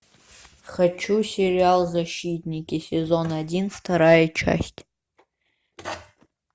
хочу сериал защитники сезон один вторая часть